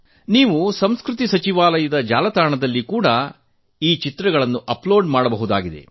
ನೀವು ಸಂಸ್ಕೃತಿ ಸಚಿವಾಲಯದ ಜಾಲತಾಣದಲ್ಲಿ ಕೂಡಾ ಚಿತ್ರಗಳನ್ನು ಅಪ್ಲೋಡ್ ಮಾಡಬಹುದಾಗಿದೆ